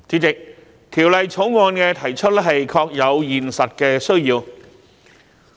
代理主席，提出《條例草案》確有現實的需要。